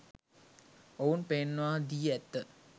ඔවුන් පෙන්වා දී ඇත.